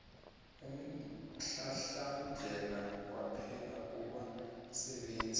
umhlahlandlela kwaphela kubasebenzisi